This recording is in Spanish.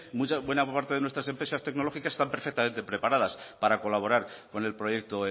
buena parte de nuestras empresas tecnológicas están perfectamente preparadas para colaborar con el proyecto